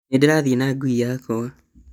Nĩndĩrathiĩ na ngui yakwa